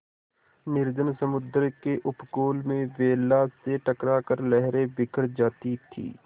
निर्जन समुद्र के उपकूल में वेला से टकरा कर लहरें बिखर जाती थीं